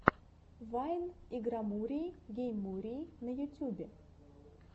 вайн игромурии гейммурии на ютубе